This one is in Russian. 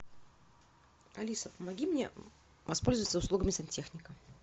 алиса помоги мне воспользоваться услугами сантехника